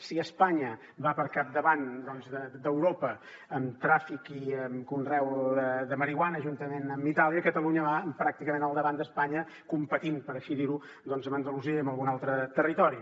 si espanya va al capdavant d’europa amb tràfic i conreu de marihuana juntament amb itàlia catalunya va pràcticament al davant d’espanya competint per així dirho amb andalusia i amb algun altre territori